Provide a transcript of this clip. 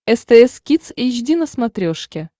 стс кидс эйч ди на смотрешке